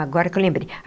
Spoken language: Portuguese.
Agora que eu lembrei.